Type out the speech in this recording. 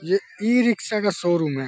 ये ई-रिक्शा का शोरूम है।